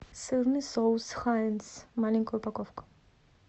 сырный соус хайнц маленькая упаковка